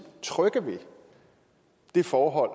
trygge ved det forhold